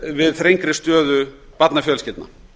við þrengri stöðu barnafjölskyldna